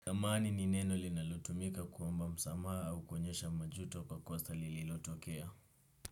Samahani ni neno linalotumika kuomba msamaa au kuonyesha majuto kwa kosa lililotokea.